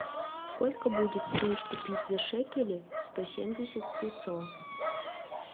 сколько будет стоить купить за шекели сто семьдесят песо